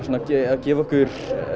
gefa okkur